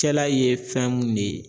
cɛla ye fɛn mun ne ye